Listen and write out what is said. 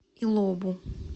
илобу